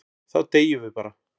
Þá deyjum við bara.